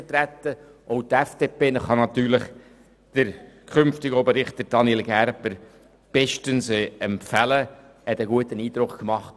Auch die FDP kann Daniel Gerber als künftigen Oberrichter bestens empfehlen, er hat einen guten Eindruck gemacht.